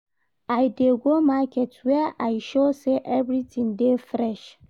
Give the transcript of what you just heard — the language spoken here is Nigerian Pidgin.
I dey go market where I sure sey everytin dey fresh.